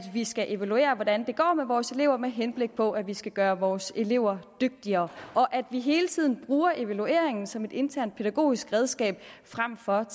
vi skal evaluere hvordan det går med vores elever med henblik på at vi skal gøre vores elever dygtigere og at vi hele tiden bruger evalueringen som et internt pædagogisk redskab frem for et